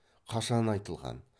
қашан айтылған